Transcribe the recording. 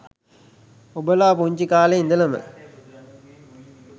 ඔබලා පුංචි කාලෙ ඉඳලම